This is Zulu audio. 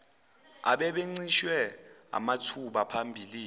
ababencishwe amathuba phambilini